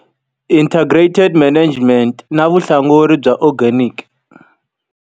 Integrated management, na vuhlanguri bya organic.